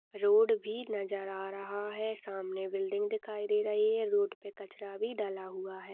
Road भी नजर आ रहा है सामने बिल्डिंग दिखाई दे रही है रोड पे कचरा भी डाला हुआ है।